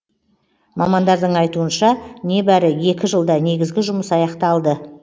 мамандардың айытуынша нәбәрі екі жылда негізгі жұмыс аяқталды